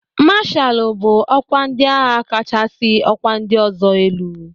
Mashalụ bụ ọkwa ndị agha kachasị ọkwa ndị ọzọ elu.